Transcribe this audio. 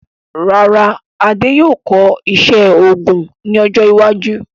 Rárá, Adé yóò kọ́ iṣẹ́ òògùn ní ọjọ́ iwájú